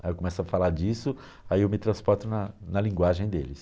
Aí eu começo a falar disso, aí eu me transporto na na linguagem deles.